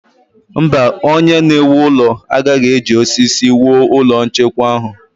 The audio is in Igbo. Mba, onye na-ewu ụlọ agaghị eji osisi wuo ụlọ nchekwa ahụ.